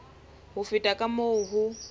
ho feta ka moo ho